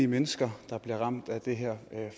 mennesker der bliver ramt af det her